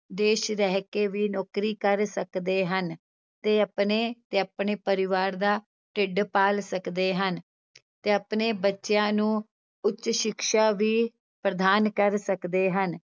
ਦੇਸ ਰਹਿ ਕੇ ਵੀ ਨੌਕਰੀ ਕਰ ਸਕਦੇ ਹਨ, ਤੇ ਆਪਣੇ ਤੇ ਆਪਣੇ ਪਰਿਵਾਰ ਦਾ ਢਿੱਡ ਪਾਲ ਸਕਦੇ ਹਨ ਤੇ ਆਪਣੇ ਬੱਚਿਆਂ ਨੂੰ ਉੱਚ ਸਿਕਸ਼ਾ ਵੀ ਪ੍ਰਦਾਨ ਕਰ ਸਕਦੇ ਹਨ।